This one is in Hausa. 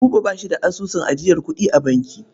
Buba ba shi da asusun ajiyar kuɗi a banki.